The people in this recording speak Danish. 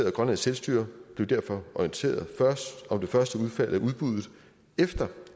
og grønlands selvstyre blev derfor orienteret om det første udfald af udbuddet efter